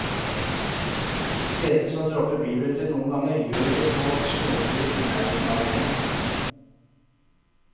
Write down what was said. De fleste som dropper bilbeltet noen ganger, gjør det på småturer i nærheten av hjemmet.